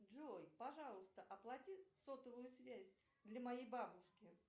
джой пожалуйста оплати сотовую связь для моей бабушки